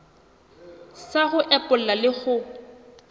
sa ho epolla le ho